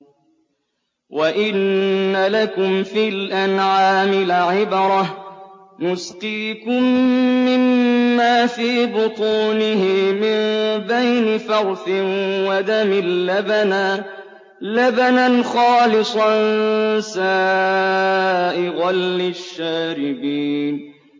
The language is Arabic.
وَإِنَّ لَكُمْ فِي الْأَنْعَامِ لَعِبْرَةً ۖ نُّسْقِيكُم مِّمَّا فِي بُطُونِهِ مِن بَيْنِ فَرْثٍ وَدَمٍ لَّبَنًا خَالِصًا سَائِغًا لِّلشَّارِبِينَ